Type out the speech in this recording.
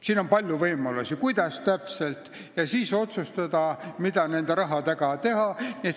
Siin on palju võimalusi, kuidas täpselt otsustada, mida sellega teha.